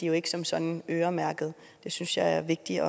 jo ikke som sådan øremærkede det synes jeg er vigtigt